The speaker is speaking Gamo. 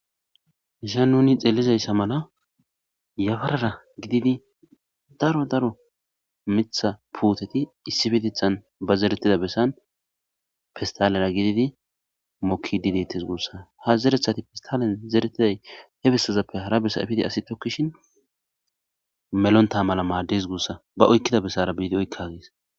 Haysan nuni xelizayssa mala yafarara gididi daro daro mitha puuteti issifitethan ba zeretida bessan fistalera gididi mokki didetes guussa ha zerethati pistalen zeretiday he bessazappe hara bessa efidi asi tokkishin melonta mala maaddes guussa ba oykkida bessara biidi oykka gees